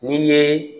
N'i ye